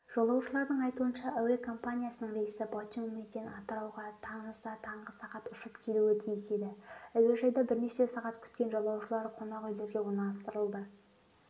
жолаушылардың айтуынша әуе компаниясының рейсі батумиден атырауға тамызда таңғы сағат ұшып келуі тиіс еді әуежайда бірнеше сағат күткен жолаушылар қонақүйлерге орналастырылды